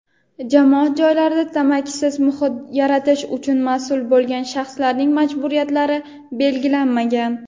jamoat joylarida tamakisiz muhit yaratish uchun mas’ul bo‘lgan shaxslarning majburiyatlari belgilanmagan.